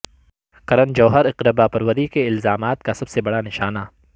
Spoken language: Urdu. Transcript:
کرن جوہر اقربا پروری کے الزامات کا سب سے بڑا نشانہ